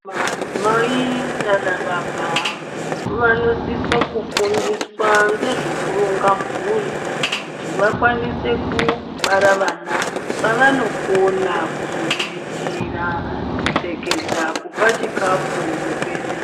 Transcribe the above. Madzimai nanababa vanosisa kufundiswa ngezvekuronga mburi kuti vakwanose kubara vana vavanokona kuzoriritira kupfekedza kupa chikafu nekuendesa...